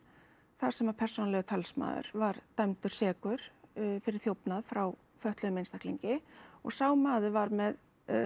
þar sem að persónulegur talsmaður var dæmdur sekur fyrir þjófnað frá fötluðum einstaklingi og sá maður var með